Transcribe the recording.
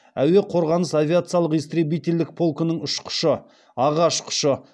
әуе қорғанысы авиациялық истребительдік полкының ұшқышы аға ұшқышы